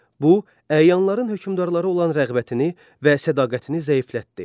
Bu, əyanların hökmdarlara olan rəğbətini və sədaqətini zəiflətdi.